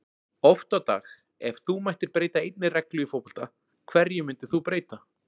Oft á dag Ef þú mættir breyta einni reglu í fótbolta, hverju myndir þú breyta?